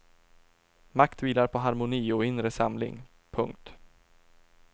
Makt vilar på harmoni och inre samling. punkt